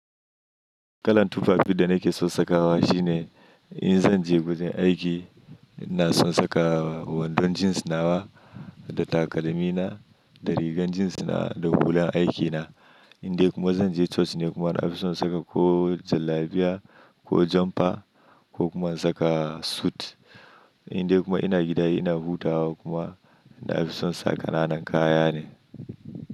Kalan tufafi da nake son sakawa shi ne in zan je wajen aiki ina son saka wandon jeans nawa da takalmina da rigar jeans nawa da hulan aiki na. Indai kuma zan je coci ne kuma ina fi son saka ko jallabiya ko jumper ko kuma in saka suit. Indai kuma ina gida ina hutawa kuma na fi son sa kananan kaya ne.